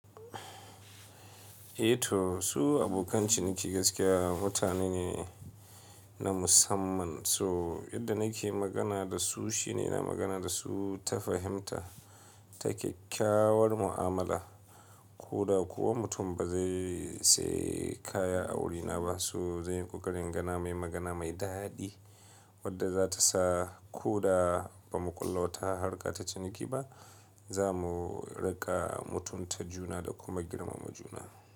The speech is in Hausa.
Eh to su abokan ciniki gaskiya mutane ne na musamman. So yadda nake magana da su shine na magana da su ta fahimta, ta kyakkyawar mu'amala. Ko da kuwa mutum ba zai sayi kaya a wurina ba, so zai yi ƙoƙarin gana mai magana mai daɗi wadda za ta sa ko da ba mu ƙulla wata harka ta ciniki ba, za mu riƙa mutunta juna da kuma girmama juna.